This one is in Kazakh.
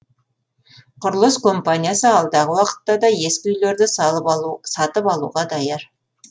құрылыс компаниясы алдағы уақытта да ескі үйлерді сатып алуға даяр